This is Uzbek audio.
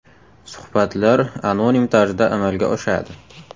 Suhbatlar anonim tarzda amalga oshadi.